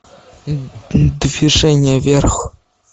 движение вверх